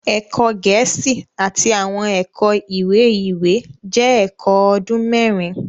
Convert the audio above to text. Ẹkọ Gẹẹsi Àti awọn ẹkọ iwe-iwe jẹ ẹkọ ọdun mẹrin